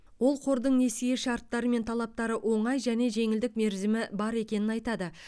ол қордың несие шарттары мен талаптары оңай және жеңілдік мерзімі бар екенін айтады